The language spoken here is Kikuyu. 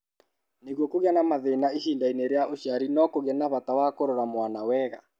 Nĩguo kũgĩe na mathĩna ihinda-inĩ rĩa ũciari-rĩ, no kũgĩe na bata wa kũrora mwana wega.